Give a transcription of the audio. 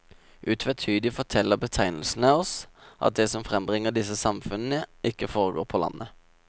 Utvetydig forteller betegnelsene oss at det som frembringer disse samfunnene, ikke foregår på landet.